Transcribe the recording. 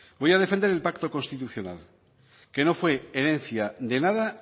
voy a defender el pacto constitucional que no fue herencia de nada